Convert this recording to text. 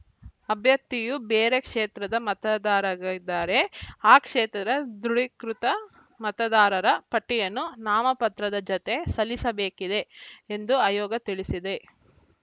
ಅಭ್ಯರ್ಥಿಯು ಬೇರೆ ಕ್ಷೇತ್ರದ ಮತದಾರಗ ಇದ್ದಾರೆ ಆ ಕ್ಷೇತ್ರದ ದೃಢೀಕೃತ ಮತದಾರರ ಪಟ್ಟಿಯನ್ನು ನಾಮಪತ್ರದ ಜತೆ ಸಲ್ಲಿಸಬೇಕಿದೆ ಎಂದು ಆಯೋಗ ತಿಳಿಸಿದೆ